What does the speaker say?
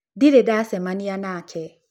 Ndĩrĩ ndacemanĩa nake.